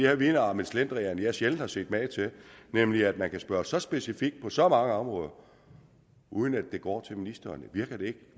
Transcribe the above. her vidner om en slendrian jeg sjældent har set mage til nemlig at man kan spørge så specifikt på så mange områder uden at det går til ministeren virker det ikke